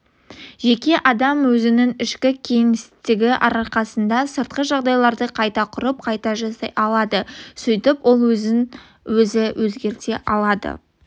жеке адам өзінің ішкі кеңістігі арқасында сыртқы жағдайларды қайта құрып қайта жасай алады сөйтіп ол өзін-өзі өзгерте алады